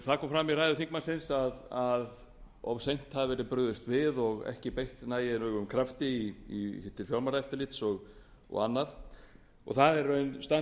það kom fram í ræðu þingmannsins að of seint hafi verið brugðist við og ekki beitt nægilegum krafti til fjármálaeftirlits og annað og það er í raun